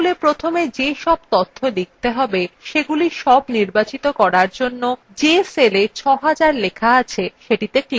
তাহলে প্রথমে যে সব তথ্য লিখতে হবে সেগুলি সব নির্বাচিত করার জন্য যে cellএ ৬০০০ লেখা আছে সেটিতে ক্লিক করুন